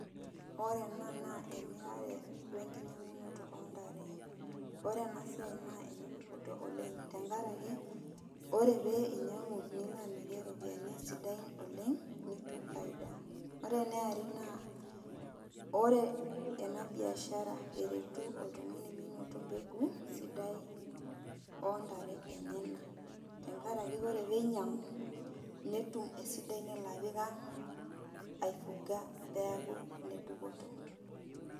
Ore ena naa emirare wenkinyang'unoto ontare. Ore enasiai naa ene dupoto oleng, tenkaraki, ore pee inyang'u nilo amirie iropiyiani sidain oleng, nitum faida. Ore eniare naa, ore ena biashara eretu oltung'ani menoto mbegu sidai, ontare enyanak. Tenkaraki ore peinyang'u, netum esidai nelo apik ang', ai fuga peeku ene dupoto.